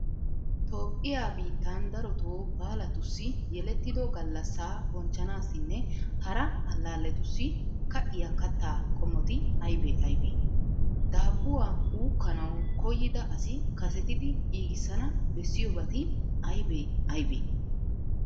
Toophphiya biittan darotoo baalatussi, yelettido gallassaa bonchchanaassinne hara allaalletussi ka'iya kattaa qommoti aybee aybee? Daabbuwa uukkanawu koyyida asi kasetidi giigissana bessiyobati aybee aybee?